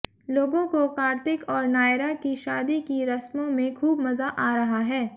लोगों को कार्तिक और नायरा की शादी की रस्मों में खूब मजा आ रहा है